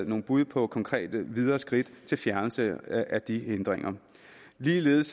nogle bud på konkrete videre skridt til fjernelse af de hindringer og ligeledes